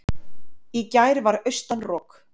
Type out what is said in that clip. Í gær var austan rok.